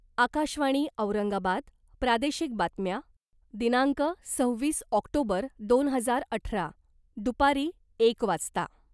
आकाशवाणी औरंगाबाद प्रादेशिक बातम्या दिनांक सव्वीस ऑक्टोबर दोन हजार अठरा दुपारी एक वाजता